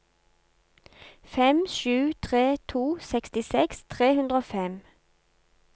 fem sju tre to sekstiseks tre hundre og fem